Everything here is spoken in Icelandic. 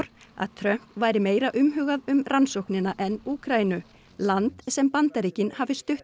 að Trump væri meira umhugað um rannsóknina en Úkraínu land sem Bandaríkin hafi stutt